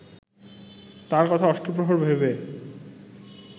তার কথা অষ্টপ্রহর ভেবে